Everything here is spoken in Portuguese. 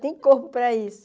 Tem corpo para isso.